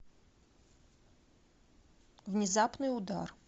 внезапный удар